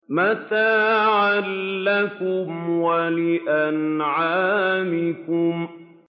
مَّتَاعًا لَّكُمْ وَلِأَنْعَامِكُمْ